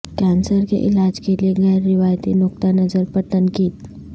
cancer کے علاج کے لیے غیر روایتی نقطہ نظر پر تنقید